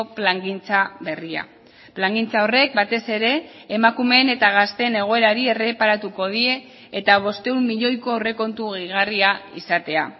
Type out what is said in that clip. plangintza berria plangintza horrek batez ere emakumeen eta gazteen egoerari erreparatuko die eta bostehun milioiko aurrekontu gehigarria izatea